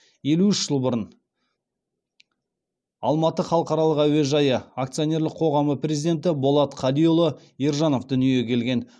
елу үш жыл бұрын алматы халықаралық әуежайы акционерлік қоғамы президенті болат қадиұлы ержанов дүниеге келген